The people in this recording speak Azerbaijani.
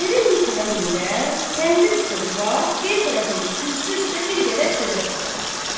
Evin bir tərəfindən təndir üstə duvaq, bir tərəfində kürsü üstə bir qədər çörək qalanıb.